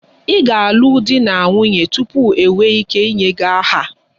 Ị ga-alụ di na nwunye tupu ị nwee ike inye gị aha